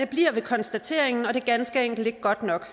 bliver ved konstateringen og det er ganske enkelt ikke godt nok